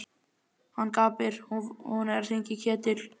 Hann gapir. hún er að hringja í Ketil!